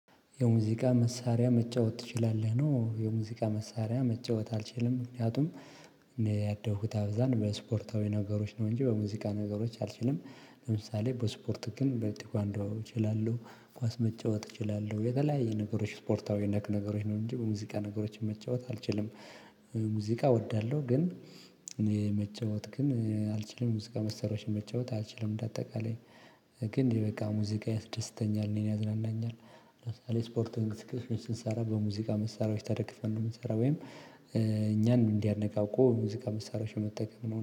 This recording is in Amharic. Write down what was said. የሙዚቃ መሳሪያ መጫወት ትችላለህ? ነው የሙዚቃ መሳሪያ መጫወት አልችልም ምክንያቱም እንደ ያደኩት አብዛን በስፖርታዊ ነገሮች ነው እንጂ በሙዚቃ ነገሮች አልችልም። ለምሳሌ በስፖርት ግን በቴኳንዶ እችላለሁ ኳስ መጫወት እችላለሁ የተለያየ ነገሮች ስፖርታዊ ነክ ነገሮች ነው እንጂ በሙዚቃ ነገሮች መጫወት አልችልም። ሙዚቃ እወዳለሁ ግን። መጫወት ግን አልችልም ሙዚቃ መሳሪያወች መጫወት አልችልም። በአጠቃላይ ግን እንዲህ በቃ ሙዚቃ ያስደስተኛል እኔን ያዝናናኛል። ለምሳሌ ስፖርት እንቅስቃሴወችን ስንሰራ በሙዚቃ መሳሪያዎች ተደግፈን ነው የምንሰራው ወይም እኛን እንዲያነቃቁ ሙዚቃ መሳሪያዎችን መጠቀም ነው